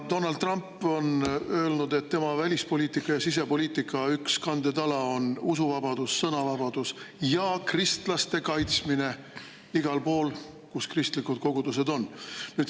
Donald Trump on öelnud, et tema välispoliitika ja sisepoliitika üks kandetala on usuvabadus, sõnavabadus ja kristlaste kaitsmine igal pool, kus kristlikud kogudused on.